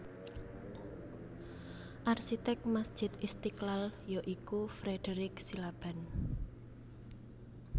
Arsitek Masjid Istiqlal ya iku Frederich Silaban